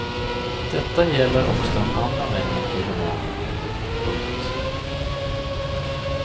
Detta gäller också de andra männen i romanen. punkt